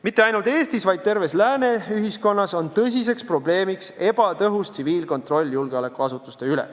Mitte ainult Eestis, vaid terves lääne ühiskonnas on tõsiseks probleemiks ebatõhus tsiviilkontroll julgeolekuasutuste üle.